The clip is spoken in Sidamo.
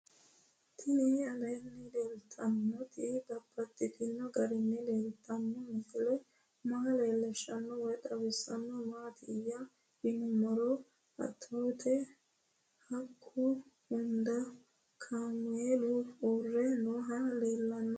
Tinni aleenni leelittannotti babaxxittinno garinni leelittanno misile maa leelishshanno woy xawisannori maattiya yinummoro atootte haqqu hunda kaammelu uurre noohu leelanno